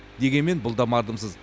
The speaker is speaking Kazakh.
дегенмен бұл да мардымсыз